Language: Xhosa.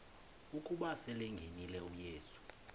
ukuba selengenile uyesu